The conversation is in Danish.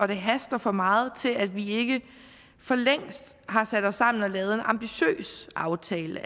det haster for meget til at vi ikke for længst har sat os sammen og lavet en ambitiøs aftale